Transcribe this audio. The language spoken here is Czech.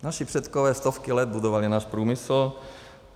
Naši předkové stovky let budovali náš průmysl.